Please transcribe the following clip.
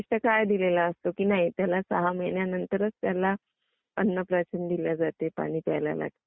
विशिष्ट काळ दिलेला असतो. त्याला सह महिन्या नंतरच त्याला अन्न प्राशन दिले जाते